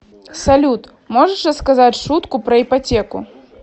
салют можешь рассказать шутку про ипотеку